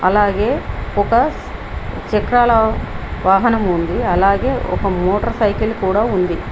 అలాగే ఒక చక్రాలు వాహనం ఉంది అలాగే ఒక మోటార్ సైకిల్ కూడా ఉంది.